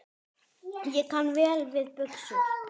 Ég kann vel við buxur.